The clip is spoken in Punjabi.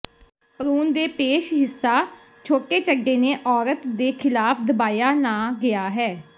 ਭਰੂਣ ਦੇ ਪੇਸ਼ ਹਿੱਸਾ ਛੋਟੇ ਚੱਡੇ ਨੇ ਔਰਤ ਦੇ ਖਿਲਾਫ ਦਬਾਇਆ ਨਾ ਗਿਆ ਹੈ